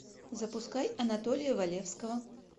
запускай анатолия валевского